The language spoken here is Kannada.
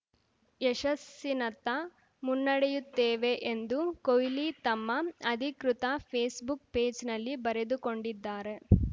ಯಶಸ್ಸಿನತ್ತ ಮುನ್ನಡೆಯುತ್ತೇವೆ ಎಂದು ಕೊಹ್ಲಿ ತಮ್ಮ ಅಧಿಕೃತ ಫೇಸ್‌ಬುಕ್‌ ಪೇಜ್‌ನಲ್ಲಿ ಬರೆದುಕೊಂಡಿದ್ದಾರೆ